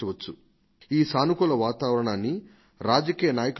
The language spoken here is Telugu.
ఈ సానుకూల వాతావరణాన్ని రాజకీయ నాయకులు కాదు